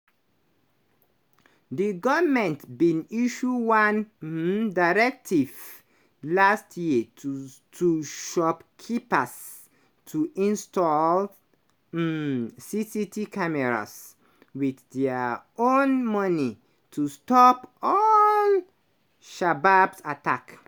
di goment bin issue one um directive last year to to shopkeepers to install um cct cameras – wit dia own money - to stop all-shababs attack.